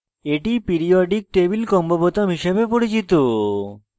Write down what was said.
এটি periodic table combo বোতাম হিসাবে পরিচিত